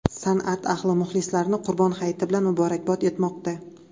San’at ahli muxlislarini Qurbon Hayiti bilan muborakbod etmoqda.